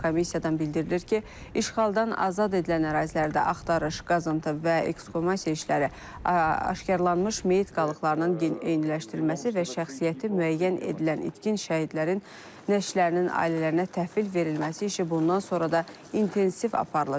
Komissiyadan bildirilir ki, işğaldan azad edilən ərazilərdə axtarış, qazıntı və ekskumasiya işləri, aşkarlanmış meyit qalıqlarının eyniləşdirilməsi və şəxsiyyəti müəyyən edilən itkin şəhidlərin nəşrlərinin ailələrinə təhvil verilməsi işi bundan sonra da intensiv aparılacaq.